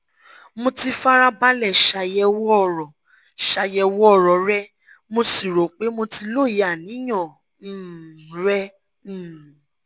mo ti fara balẹ̀ ṣàyẹ̀wò ọ̀ro ṣàyẹ̀wò ọ̀ro rẹ mo sì rò pé mo ti lóye àníyàn um rẹ um